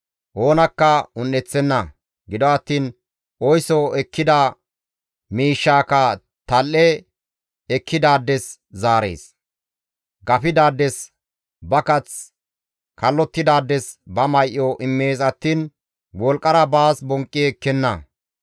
Oonakka un7eththenna; gido attiin oyso ekkida miishshaakka tal7e ekkidaades zaarees; gafidaades ba kath, kallottidaades ba may7o immees attiin wolqqara baas bonqqi ekkenna.